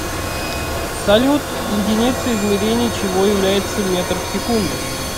салют единицей измерения чего является метр в секунду